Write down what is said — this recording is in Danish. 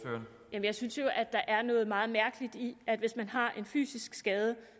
jeg synes jo at der er noget meget mærkeligt i at hvis man har en fysisk skade